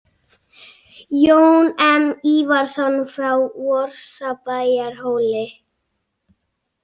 Jón M Ívarsson frá Vorsabæjarhóli.